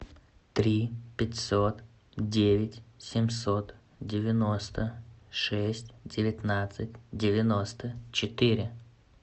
три пятьсот девять семьсот девяносто шесть девятнадцать девяносто четыре